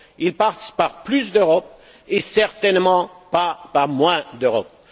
Il passe par plus d'Europe et certainement pas par moins d'Europe.